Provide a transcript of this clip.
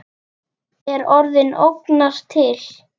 Er orðið ógnanir til?